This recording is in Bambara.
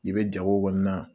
I bɛ jago kɔni na.